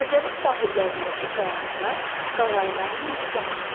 Xəzərin sahillərindəki qayalıqlar qağayıların məskənidir.